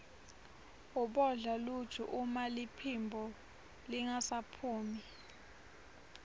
ubodla luju uma liphimbo lingasaphumi